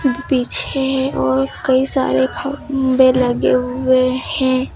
पीछे और कई सारे खंबे लगे हुए हैं।